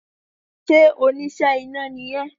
Sé oníṣẹ́ iná ni ẹ?